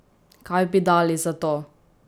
Kaj bi dali za to?